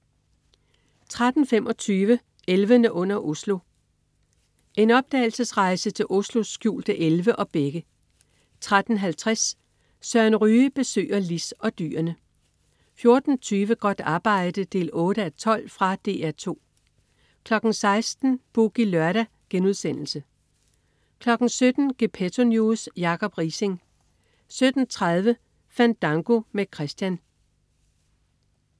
13.25 Elvene under Oslo. En opdagelsesrejse til Oslos skjulte elve og bække 13.50 Søren Ryge besøger Lis og dyrene 14.20 Godt arbejde 8:12. Fra DR 2 16.00 Boogie Lørdag* 17.00 Gepetto News. Jacob Riising 17.30 Fandango med Christian